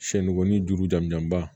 Sɛnikɔni juru jamuba